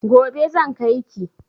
Gobe zan kai ki.